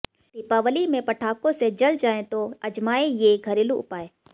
दीपावली में पटाखों से जल जाए तो अजमाएं ये घरेलू उपाय